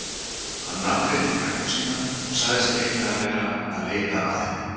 Hann nafngreindi frænku sína og sagðist eiginlega vera að leita að henni.